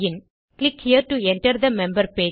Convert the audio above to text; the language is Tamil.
click here to enter the member page